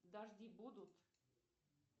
дожди будут